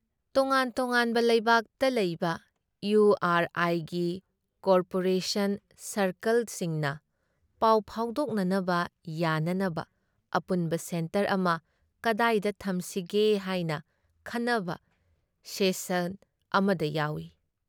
ꯇꯣꯉꯥꯟ ꯇꯣꯉꯥꯟꯕ ꯂꯩꯕꯥꯛꯇ ꯂꯩꯕ ꯏꯌꯨ ꯑꯥꯔ ꯑꯥꯏꯒꯤ ꯀꯣꯑꯣꯄꯔꯦꯁꯟ ꯁꯥꯔꯀꯜꯁꯤꯡꯅ ꯄꯥꯎ ꯐꯥꯎꯗꯣꯛꯅꯅꯕ ꯌꯥꯅꯅꯕ ꯑꯄꯨꯟꯕ ꯁꯦꯟꯇꯔ ꯑꯃ ꯀꯗꯥꯏꯗ ꯊꯝꯁꯤꯒꯦ ꯍꯥꯏꯅ ꯈꯟꯅꯕ ꯁꯦꯁꯛ ꯑꯃꯗ ꯌꯥꯎꯏ ꯫